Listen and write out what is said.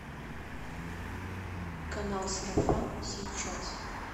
канал сарафан сейчас